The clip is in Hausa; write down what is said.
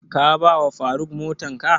Ka ba wa faruk motan ka?